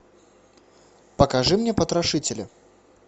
покажи мне потрошителя